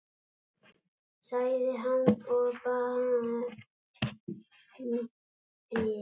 sagði hann og brann fyrir.